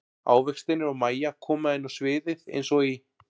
Ávextirnir og Mæja koma inn á sviðið eins og í